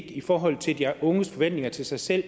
i forhold til de unges forventninger til sig selv